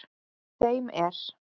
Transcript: Þeim er